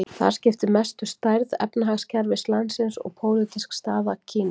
Þar skiptir mestu stærð efnahagskerfis landsins og pólitísk staða Kína.